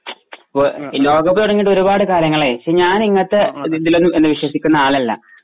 ഇപ്പൊ ലോകകപ്പ് തുടങ്ങീട് ഒരുപാട് കാലങ്ങാളായി പക്ഷെ ഞാൻ ഇങ്ങനത്തെ ഇതിലൊന്നും വിശ്വസിക്കുന്ന ആളല്ല